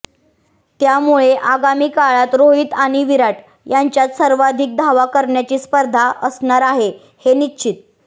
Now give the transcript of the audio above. त्यामुळे आगामी काळात रोहित आणि विराट यांच्यात सर्वाधिक धावा करण्याची स्पर्धा असणार आहे हे निश्चित